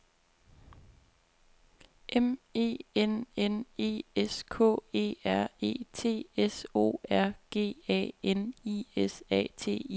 M E N N E S K E R E T S O R G A N I S A T I O N